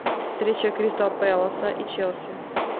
встреча кристал пэласа и челси